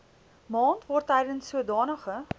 maand waartydens sodanige